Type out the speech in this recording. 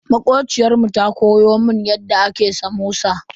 Makociyar mu ta koya mun yadda ake samosa.